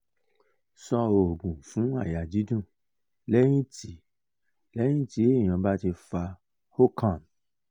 sọ ogun fun aya didun lẹyin ti lẹyin ti eyan ba ti fa hookah